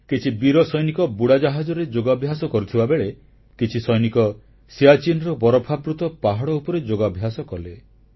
କିଛି ବୀର ସୈନିକ ବୁଡ଼ାଜାହାଜରେ ଯୋଗାଭ୍ୟାସ କରିଥିବାବେଳେ କିଛି ସୈନିକ ସିଆଚିନରବରଫାବୃତ ପାହାଡ଼ ଉପରେ ଯୋଗାଭ୍ୟାସ କଲେ